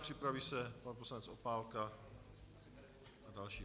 Připraví se pan poslanec Opálka a další.